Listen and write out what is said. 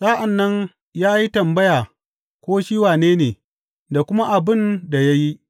Sa’an nan ya yi tambaya ko shi wane ne, da kuma abin da ya yi.